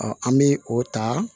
an bɛ o ta